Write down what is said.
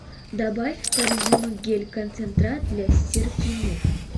добавь в корзину гель концентрат для стирки миф